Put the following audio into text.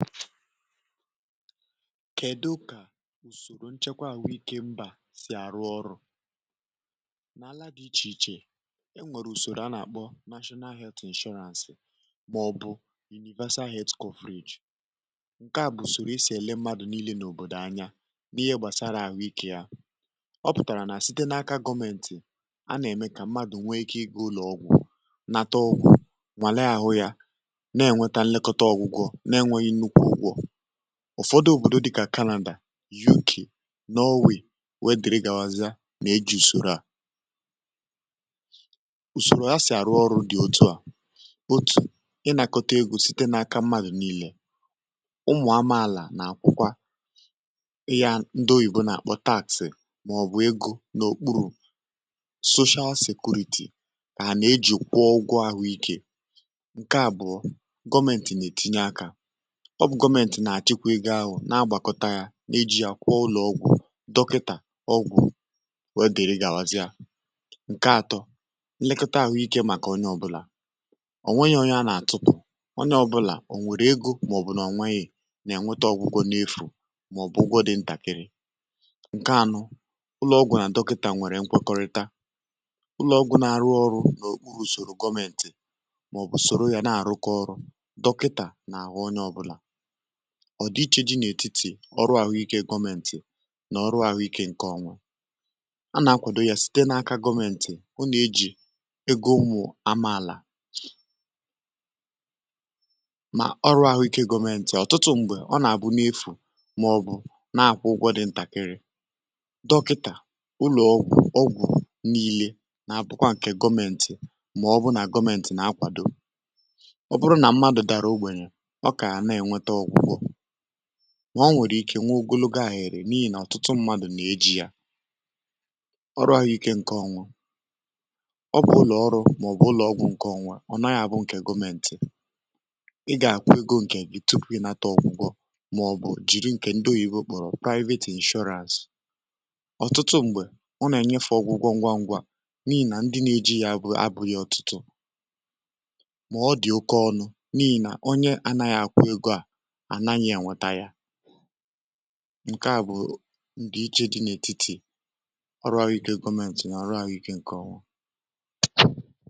kèdụ kà ùsòrò nchekwa àwụikė mbà sì àrụ ọrụ̇ n’ala dị ichè ichè e nwèrè ùsòrò a nà-àkpọ national health insurance um mà ọ̀ bụ̀ universal health fridge ǹke à bụ̀ ùsòrò i sì èle mmadụ̀ niilė n’òbòdò anya n’ihe gbàsara àwụikė ya ọ pụ̀tàrà nà site n’aka gomentì a n’àme kà mmadụ̀ nweike ịgụ̇ ụlọ̀ ọgwụ̀ nata ọgwụ̀ nwàle àhụ ya um ụ̀fọdụ òbòdo dị kà Canada UK n’ọ̀wì wèe diri gàawazịa um nà-eji̇ ùsòrò à unò gọmentì nà-àchịkwụ ihe ahụ̀ na-agbàkọta ya n’iji̇ ya kwụọ ụlọ̀ ọgwụ̀ dọkịtà ọgwụ̀ wegi̇ri̇ gà-àwazị ya ǹke atọ nlekota àhụike màkà onye ọbụlà ọ̀ nwèghi̇ onye a nà-àtụ̀rụ onye ọbụlà ọ̀ nwèrè egȯ mà ọ̀ bụ̀ nà ọ̀ nwèghi̇ nà-ènweta ọgwụgwọ n’efù um mà ọ̀ bụ̀ ụgwọ di̇ ntàkiri ǹke anụ ụlọ̇ ọgwụ̀ nà dọkịtà nwèrè nkwekọrịta ụlọ̇ ọgwụ̇ nà-àrụ ọrụ̇ n’okpuru̇ sòrò gọmentì mà ọ̀ bụ̀ sòrò ya na-àrụkọ ọrụ̇ dọkịtà nà-àhụ onye ọbụ̇là ọrụ àhụikė gọmentì nà ọrụ àhụikė ǹkè ọnwȧ a nà-akwàdo yȧ site n’aka gọmentì ọ nà-ejì ego ụmụ̀ amaàlà mà o nwèrè ike nwa ogologo à hèrè n’ihì nà ọ̀tụtụ ṁmȧdụ̀ nà-eji̇ yȧ ọrụ ànyị ike ǹke ọnwa ọ bụ̀ ùrụ̀ ọrụ̇ um màọ̀bụ̀ ụlọ̀ ọgwụ̀ ǹke ọnwa ọ̀ naghị àbụ ǹkè gọmentì ị gà-àkwụ ego ǹkè gị tupu ị nata ọ̀gwụgwọ um màọ̀bụ̀ jìri ǹkè ndụ̀ghị̇ ikpòrọ̀ private inshọraz ọ̀tụtụ m̀gbè ọ nà-ènyefè ọgwụgwọ ngwangwọ um à n’ihì nà ndị nà-ejì yȧ bụ abụ̇ghị ọ̀tụtụ mà ọ dị̀ oke ọnụ ǹke à bụ̀ ndị iche dị n’ètitì ọrụ àgwụ̀ike gọmentì nà ọrụ àgwụ̀ike ǹkè ọ̀wụ̀